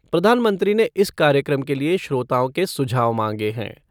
प्रधानमंत्री ने इस कार्यक्रम के लिए श्रोताओं के सुझाव मांगे हैं।